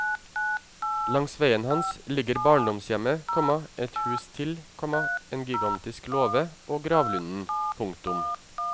Langs veien hans ligger barndomshjemmet, komma ett hus til, komma en gigantisk låve og gravlunden. punktum